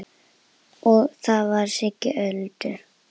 Það var Siggi Öddu.